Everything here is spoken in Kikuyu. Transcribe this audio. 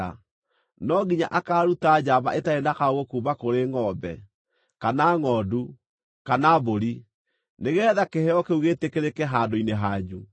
no nginya akaaruta njamba ĩtarĩ na kaũũgũ kuuma kũrĩ ngʼombe, kana ngʼondu, kana mbũri, nĩgeetha kĩheo kĩu gĩĩtĩkĩrĩke handũ-inĩ hanyu.